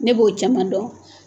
Ne b'o caman dɔn